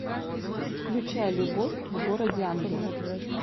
включай любовь в городе ангелов